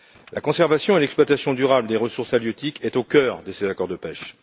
La conservation et l'exploitation durable des ressources halieutiques est au cœur de ces accords de pêche.